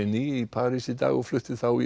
í París í dag og flutti þá í